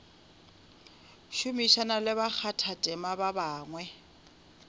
šomišana le bakgathatema ba bangwe